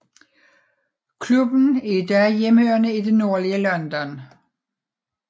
Klubben er i dag hjemhørende i det nordlige London